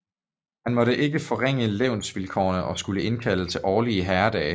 Han måtte ikke forringe lensvilkårene og skulle indkalde til årlige herredage